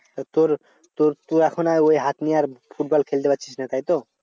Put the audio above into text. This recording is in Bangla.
তা তোর তোর তোর এখন আর ওই হাত নিয়ে আর ফুটবল খেলতে পারছিস না তাইতো?